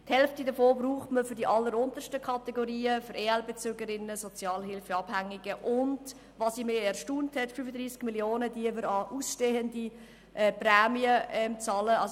Die Hälfte braucht man für die alleruntersten Kategorien, für Bezügerinnen und Bezüger von Ergänzungsleistungen (EL), Sozialhilfeabhängige, und 35 Mio. Franken bezahlen wir an ausstehende Prämien, was mich erstaunt hat.